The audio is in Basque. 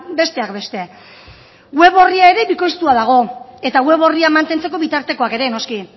besteak beste web orria ere bikoiztua dago eta web orria mantentzeko bitartekoak ere noski